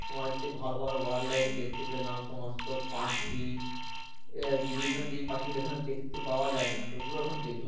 তোমার হচ্ছে ভালো ভালো world, life দেখতে পেলাম সমস্ত পাখি এ বিভিন্ন যেই পাখি গুলো এখানে দেখতে পাওয়া যায় না তো ওইগুলোও ওখানে দেখলাম